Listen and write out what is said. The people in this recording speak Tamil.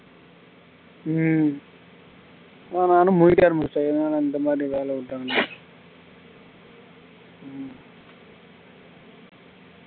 உம் நானும் முழிக்க ஆரம்பிச்சுட்டே என்னடா இந்த மாதிரி வேலை விட்டானுங்க